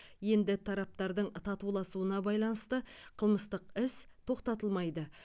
енді тараптардың татуласуына байланысты қылмыстық іс тоқтатылмайды